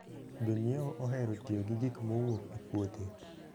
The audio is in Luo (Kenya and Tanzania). Jonyiewo ohero tiyo gi gik mowuok e puothe.